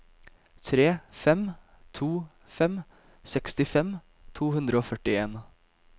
tre fem to fem sekstifem to hundre og førtien